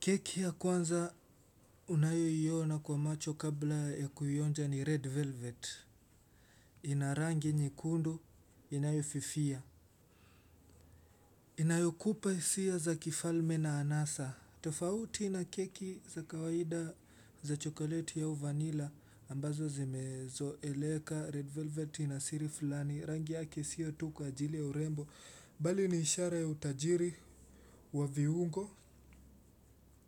Keki ya kwanza unayoiona kwa macho kabla ya kuionja ni red velvet. Ina rangi nyekundu, inayofifia. Inayokupa hisia za kifalme na anasa. Tofauti na keki za kawaida za chokoleti au vanila ambazo zimezoeleka. Red velvet ina siri fulani, rangi yake sio tu kwa ajili ya urembo. Bali ni ishara ya utajiri wa viungo,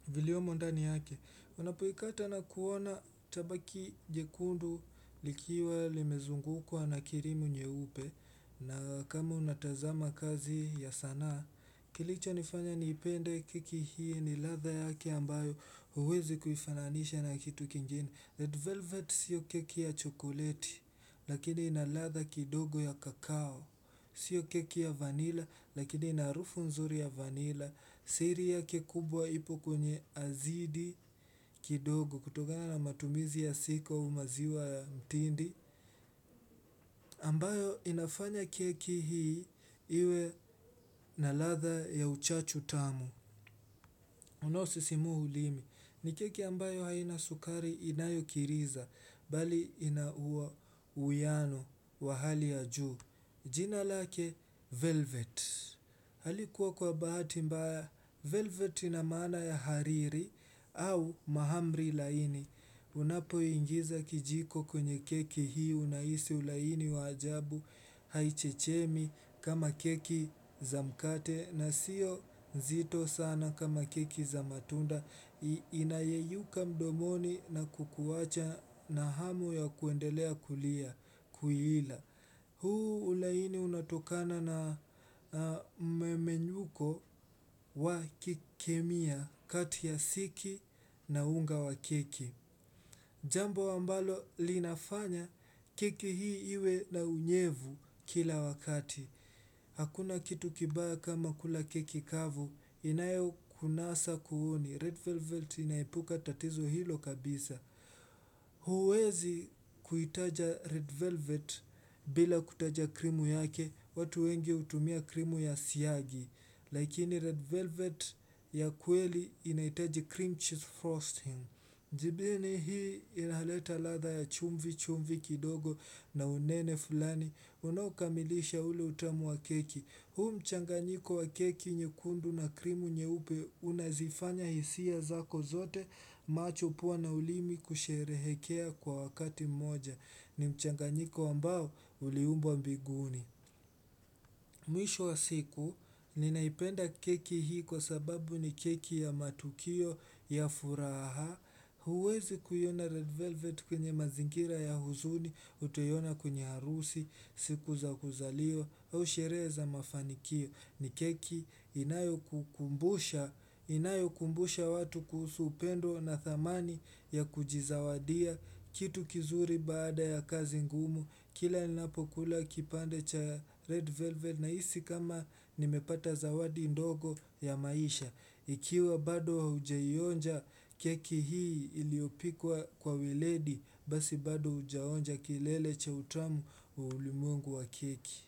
viliomo ndani yake. Unapoikata na kuona itabaki jekundu likiwa limezungukwa na cream nyeupe. Na kama unatazama kazi ya sanaa kilichonifanya niipende keki hii ni ladha yake ambayo hauwezi kuifananisha na kitu kingine. Red velvet siyo keki ya chokoleti lakini ina ladha kidogo ya cacao. Sio keki ya vanilla lakini ina harufu nzuri ya vanilla. Siri yake kubwa ipo kwenye azidi kidogo kutokana matumizi ya siku au maziwa ya mtindi ambayo inafanya keki hii iwe na ladha ya uchachu tamu unaosisimua ulimi. Ni keki ambayo haina sukari inayokiriza bali ina uwiano wa hali ya juu. Jina lake velvet. Halikuwa kwa bahati mbaya velvet ina maana ya hariri au mahamri laini. Unapoingiza kijiko kwenye keki hii unahisi ulaini wa ajabu. Haichechemi kama keki za mkate na sio nzito sana kama keki za matunda inayeyuka mdomoni na kukuwacha na hamu ya kuendelea kuila. Huu ulaini unatokana na mmemenyuko wa kikemia kati ya siki na unga wa keki. Jambo ambalo linafanya keki hii iwe na unyevu kila wakati. Hakuna kitu kibaya kama kula keki kavu inayokunasa kooni. Red velvet inaepuka tatizo hilo kabisa. Huwezi kuitaja red velvet bila kutaja krimu yake, watu wengi hutumia krimu ya siagi. Lakini red velvet ya kweli inahitaji cream cheese frosting. Njibini hii inaleta ladha ya chumvi chumvi kidogo na unene fulani. Unaokamilisha ule utamu wa keki. Huu mchanganyiko wa keki nyekundu na krimu nyeupe unazifanya hisia zako zote macho, pua na ulimi kusherehekea kwa wakati mmoja. Ni mchanganyiko ambao uliumbwa mbinguni. Mwisho wa siku ninaipenda keki hii kwa sababu ni keki ya matukio ya furaha. Huwezi kuiona red velvet kwenye mazingira ya huzuni utaiona kwenye harusi, siku za kuzaliwa au sherehe za mafanikio. Ni keki inayokumbusha watu kuhusu upendo na thamani ya kujizawadia kitu kizuri baada ya kazi ngumu. Kila ninapokula kipande cha Red velvet nahisi kama nimepata zawadi ndogo ya maisha ikiwa bado haujaionja keki hii iliyopikwa kwa weledi basi bado hujaonja kilele cha utamu wa ulimwengu wa keki.